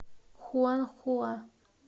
хуанхуа